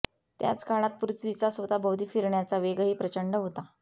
त्याच काळात पृथ्वीचा स्वतःभोवती फिरण्याचा वेगही प्रचंड होता